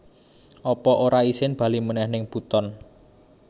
Apa ora isin bali meneh ning Buton?